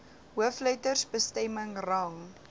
hoofletters bestemming rang